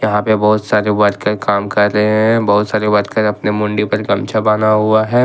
यहां पर बहुत सारे वर्कर काम कर रहे हैं बहुत सारे वर्कर अपने मुंडी पर गमछा बांधा हुआ है।